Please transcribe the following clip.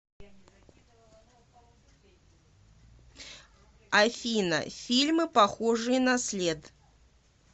афина фильмы похожие на след